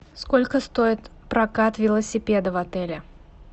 сколько стоит прокат велосипеда в отеле